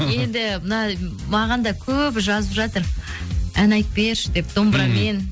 енді мына маған да көп жазып жатыр ән айтып берші деп домбырамен